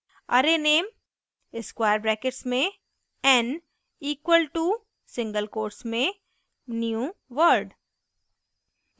arrayname square brackets में n equals to single quotes में newword